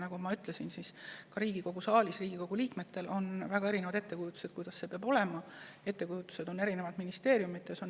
Nagu ma ütlesin, ka Riigikogu liikmetel on väga erinevad ettekujutused, kuidas see peab olema, samuti on mitmesuguseid mõtteid eri ministeeriumides.